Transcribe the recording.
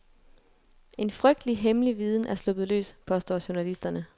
En frygtelig, hemmelig viden er sluppet løs, påstår journalisterne.